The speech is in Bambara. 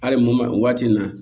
Hali mun ma waati in na